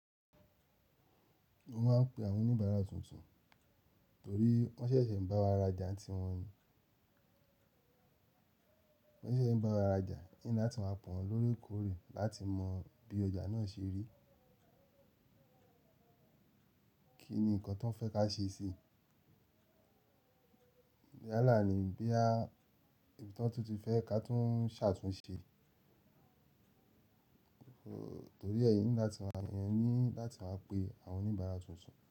Mo máa ń pe àwọn oníbàárà tuntun torí wọ́n ṣẹ̀ṣẹ̀ ń bá wa rajà n tí wọ́n ní. Wọ́n ṣẹ̀ṣẹ̀ ń bá wa rajà, n ní láti máa pè wọ́n lóòrèkóòrè láti mọ bí ọjà náà ṣe rí. Kí ni nǹkan tón fẹ́ ká ṣe sí i? Yálà ni bóyá, ibi ton tún ti fẹ́ ká tún ṣàtúnṣe. Torí ẹ èèyàn ní láti máa, èèyàn ní láti máa pe àwọn oníbàárà tuntun.